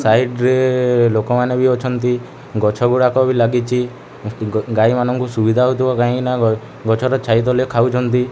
Side ରେ ଲୋକମାନେ ବି ଅଛନ୍ତି ଗଛଗୁଡାକ ବି ଲାଗିଛି ଗାଈମାନଙ୍କୁ ସୁବିଧା ହଉଥିବା କାହିଁକି ନା ଗଛର ଛାଇ ତଳେ ଖାଉଛନ୍ତି।